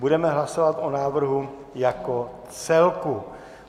Budeme hlasovat o návrhu jako celku.